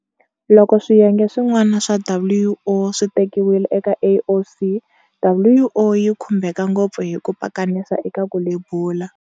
Loko swiyenge swin'wana swa WO swi tekiwile eka AOC, WO yi khumbeka ngopfu hi ku pakanisa eka ku lebula.